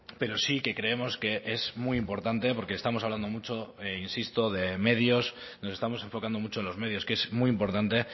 pero sí que creemos que es muy importante porque estamos hablando mucho insisto de medios nos estamos enfocando mucho en los medios que es muy importante